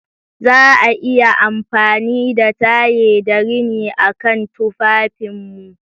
Za a iya amfani da taye da rini a kan tufafinmu.